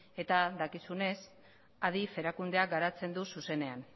eta dakizunez adif erakundeak garatzen du zuzenean